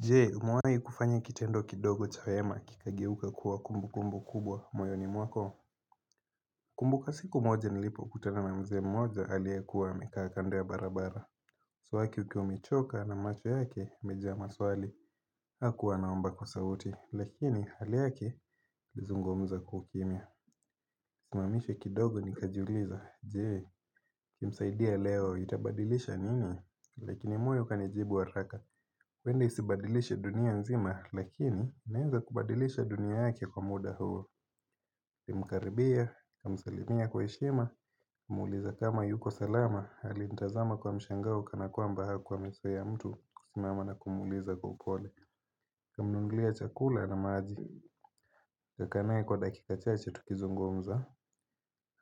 Jee umuwahi kufanya kitendo kidogo cha wema kikageuka kuwa kumbu kumbu kubwa moyoni mwako? Kumbuka siku moja nilipokutana na mzee mmoja aliyekuwa amekaa kando ya barabara uso wake ukiwa umechoka na macho yake mejaa maswali hakuwa naomba kwa sauti lakini hali yake ilizungumza kwa ukimya Simamisha kidogo nikajiuliza Je, nikimsaidia leo itabadilisha nini? Lakini moyo kanijibu haraka huenda isibadilishe dunia nzima lakini inaeza kubadilisha dunia yake kwa muda huo Nilimkaribia, nikamsalimia kwa heshima, muuliza kama yuko salama alinitazama kwa mshangao kana kwamba hakuwa amezoea mtu kusimama na kumuuliza kwa upole Kamnunulia chakula na maji, kakaa nae kwa dakika chache tukizungumza